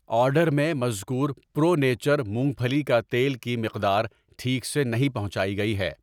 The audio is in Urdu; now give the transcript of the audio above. آرڈر میں مذکور پرو نیچر مونگ پھلی کا تیل کی مقدار ٹھیک سے نہیں پہنچائی گئی ہے۔